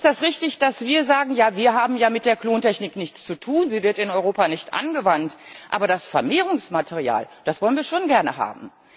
Ist es richtig, dass wir sagen Ja, wir haben ja mit der Klontechnik nichts zu tun, sie wird in Europa nicht angewandt, aber das Vermehrungsmaterial wollen wir schon gerne haben.